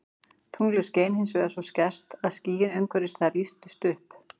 Tunglið skein hins vegar svo skært að skýin umhverfis það lýstust upp.